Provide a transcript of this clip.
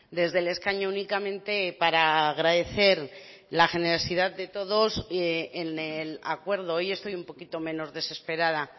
desde el escaño únicamente para agradecer la generosidad de todos en el acuerdo hoy estoy un poquito menos desesperada